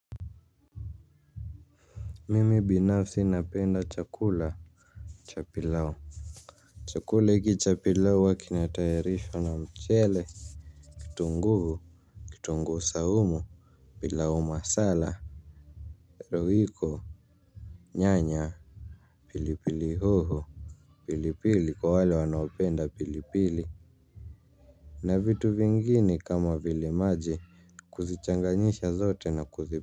Mimi binafsi napenda chakula cha pilau. Chakula hiki cha pilau huwa kinatayarishwa na mchele Kitunguu Kitunguhu saumu pilau masala, royco Nyanya Pilipili hoho pilipili kwa wale wanaopenda pilipili. Na vitu vingine kama vile maji kuzichanganyisha zote na kuzi.